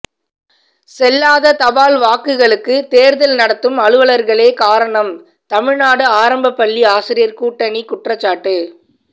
செல்லாத தபால் வாக்குகளுக்கு தோ்தல் நடத்தும் அலுவலா்களே காரணம்தமிழ்நாடு ஆரம்பப்பள்ளி ஆசிரியா் கூட்டணி குற்றச்சாட்டு